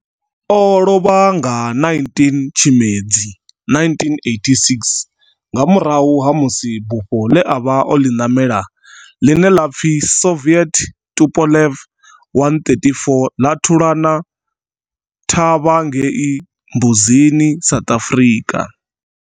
O lovha nga 19 Tshimedzi 1986 nga murahu ha musi bufho ḽe a vha o ḽi namela, ḽine ḽa pfi Soviet Tupolev 134 ḽa thulana thavha ngei Mbuzini, South Africa.